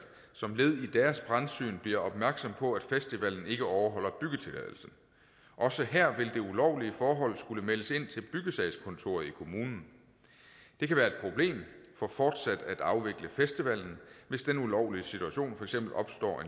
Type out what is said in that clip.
som led i deres brandsyn bliver opmærksom på at festivalen ikke overholder byggetilladelsen også her vil det ulovlige forhold skulle meldes ind til byggesagskontoret i kommunen det kan være et problem for fortsat at afvikle festivalen hvis den ulovlige situation for eksempel opstår